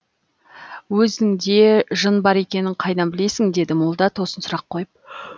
өзіңде жын бар екенін қайдан білесің деді молда тосын сұрақ қойып